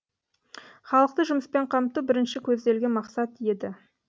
халықты жұмыспен қамту бірінші көзделген мақсат еді